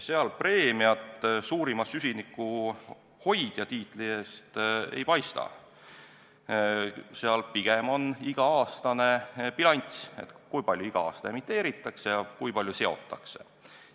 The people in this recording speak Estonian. Seal preemiat suurima süsinikuhoidja tiitli eest ei paista, pigem on tähtis iga-aastane bilanss, kui palju emiteeritakse ja kui palju seotakse.